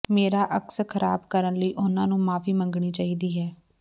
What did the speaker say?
ਮੇਰਾ ਅਕਸ ਖ਼ਰਾਬ ਕਰਨ ਲਈ ਉਨ੍ਹਾਂ ਨੂੰ ਮੁਆਫ਼ੀ ਮੰਗਣੀ ਚਾਹੀਦੀ ਹੈ